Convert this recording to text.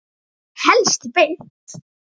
Helst beint.